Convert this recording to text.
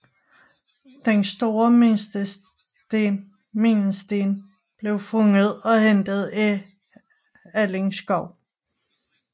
Den store mindesten blev fundet og hentet i Alling Skov